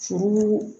Furu